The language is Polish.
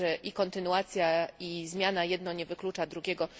Czyli i kontynuacja, i zmiana, jedno nie wyklucza drugiego.